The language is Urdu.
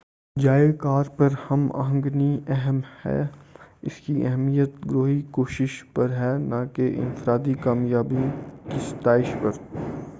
جائے کار پر ہم آہنگی اہم ہے اس کی اہمیت گروہی کوشش پر ہے نہ کہ انفرادی کامیابیوں کی ستائش پر